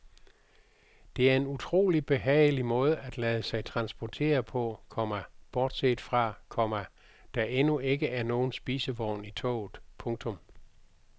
Det er en utrolig behagelig måde at lade sig transportere på, komma bortset fra, komma der endnu ikke er nogen spisevogn i toget. punktum